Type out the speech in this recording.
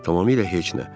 Tamamilə heç nə.